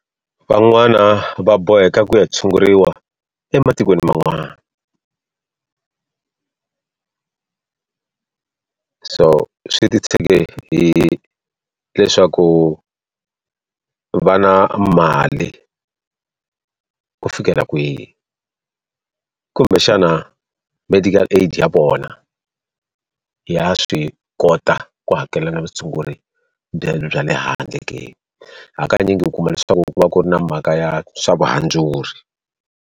Van'wana va boheka ku ya tshunguriwa ematikweni man'wana. So swi ti tshege hileswaku va na mali ku fikela kwihi. Kumbexana medical aid ya vona, ya swi kota ku hakelela na vutshunguri bya le handle ke. Hakanyingi u kuma leswaku ku va ku ri na mhaka ya swavuhandzuri.